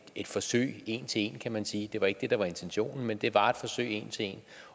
et forsøg en til en kan man sige det var ikke det der var intentionen men det var et forsøg en til en